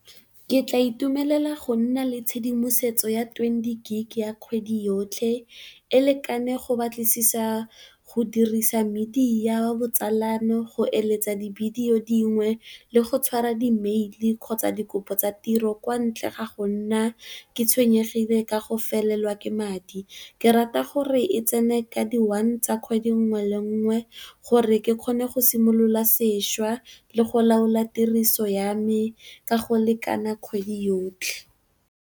Ke tla itumelela go nna le tshedimosetso ya twenty gigabyte ya kgwedi yotlhe e lekane go batlisisa, go dirisa media, botsalano, go eletsa divideyo dingwe le go tshwara di mail kgotsa dikopo tsa tiro kwa ntle ga go nna ke tshwenyegile ka go felelwa ke madi. Ke rata gore e tsene ka di one tsa kgwedi nngwe le nngwe, gore ke kgone go simolola seša le go laola tiriso ya me ka go lekana kgwedi yotlhe.